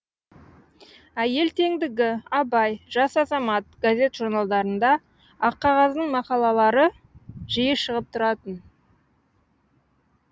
әйел теңдігі абай жас азамат газет журналдарында аққағаздың мақалалары жиі шығып тұратын